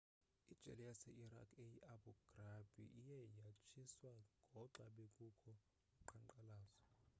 ijele yase-iraq eyi-abu ghraib iye yatshiswa ngoxa bekukho uqhankqalazo